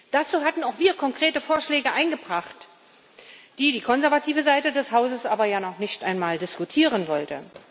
Dazu hatten auch wir konkrete Vorschläge eingebracht, die die konservative Seite des Hauses aber noch nicht einmal diskutieren wollte.